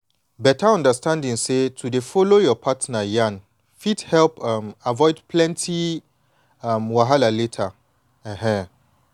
beta understanding say to dey follow your partner yan fit help um avoid plenty um wahala later. um